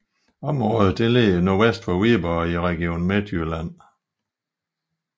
Området ligger nordvest for Viborg i Region Midtjylland